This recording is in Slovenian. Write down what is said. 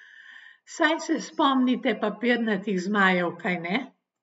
Saj se spomnite papirnatih zmajev, kajne?